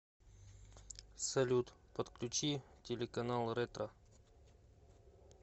салют подключи телеканал ретро